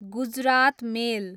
Gujarat मेल